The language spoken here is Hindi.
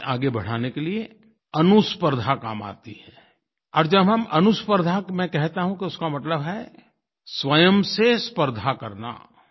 जीवन को आगे बढ़ाने के लिए अनुस्पर्द्धा काम आती है और जब हम अनुस्पर्द्धा मैं कहता हूँ तो उसका मतलब है स्वयं से स्पर्द्धा करना